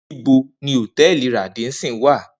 Nibo ni Hotẹẹli Radisson wa?